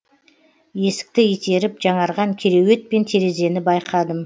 есікті итеріп жаңарған кереует пен терезені байқадым